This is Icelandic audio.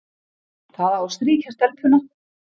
Það á að strýkja stelpuna,